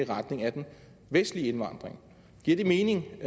retning af den vestlige indvandring giver det mening